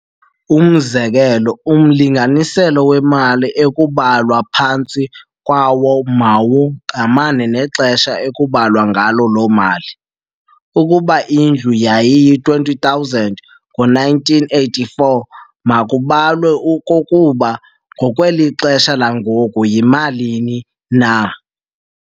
Umzekelo umlinganiselo wemali ekubalwa phantsi kwawo mawungqamane nexesha ekubalwa ngalo loo mali. Ukuba indlu yayiyi R20 000 ngo 1984, makubalwe okokuba ngokwelixesha langoku yimalini na.